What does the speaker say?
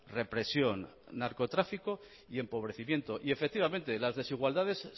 represión narcotráfico y empobrecimiento y efectivamente las desigualdades